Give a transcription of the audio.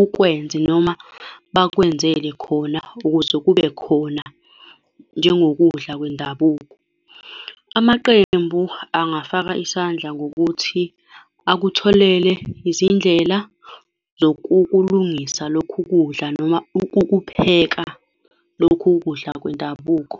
ukwenze, noma bekwenzele khona ukuze kube khona, njengokudla kwendabuko. Amaqembu angafaka isandla ngokuthi akutholele izindlela zokukulungisa lokhu kudla noma ukukupheka lokhu kudla kwendabuko.